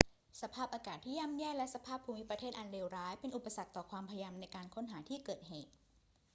สภาพอากาศที่ย่ำแย่และสภาพภูมิประเทศอันเลวร้ายเป็นอุปสรรคต่อความพยายามในการค้นหาที่เกิดเหตุ